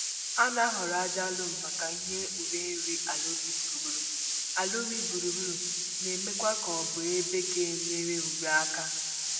A na-ahoro aja lom maka ihe uré nri àlà ubi gburugburu, àlà ubi gburugburu, na eme kwa ka ọ bụ ebe ga enyere uré aka